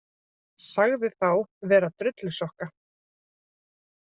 Sagði þá vera drullusokka